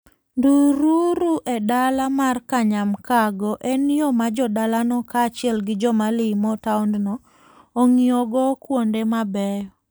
Ndururu e dala mar Kanyamkago, en yo ma jo dalano kaachiel gi joma limo taondno ong'iyogo kuonde mabeyo.